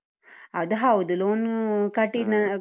ಅದ್ ಹೌದು loan ಕಟ್ಟಿದ್ .